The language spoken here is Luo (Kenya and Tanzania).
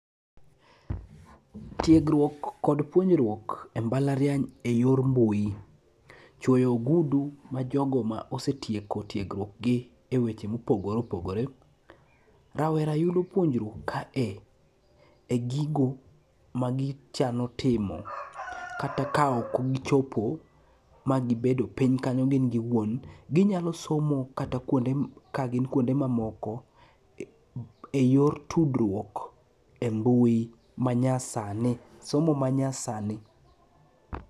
Tiegruok kod puonjruok e mbalariany e yor mbui, chwoyo ogudu ma jogo ma jogo ma osetieko tiegruokgi e weche mopogore opogore ,rawera yudo puonjruok kae e gigo magichano timo kata ka ok gichopo magibedo piny kanyo gin giwuon, ginyalo somo kata kagin kwonde mamoko e yor tudruok e mbui, manyasani. Somo manyasani .